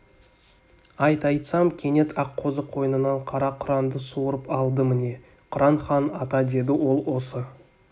айт айтсам кенет аққозы қойнынан қара құранды суырып алды міне құран хан ата деді ол осы